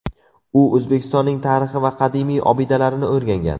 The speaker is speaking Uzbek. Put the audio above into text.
U O‘zbekistonning tarixi va qadimiy obidalarini o‘rgangan.